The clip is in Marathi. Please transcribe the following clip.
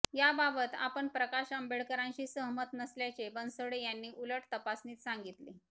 याबाबत आपण प्रकाश आंबेडकरांशी सहमत नसल्याचे बनसोड यांनी उलट तपासणीत सांगितले